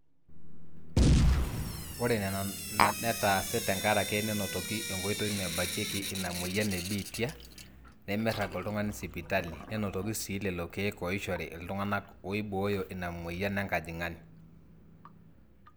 ore ena netaase tenkaraki nenotoki enkoitoi nabakieki ina mweyian ebiitia nemeirag oltung'ani sipitali nenotoki sii lelo keek ooishori iltung'anak ooibooyo ina mweyian enkajang'ani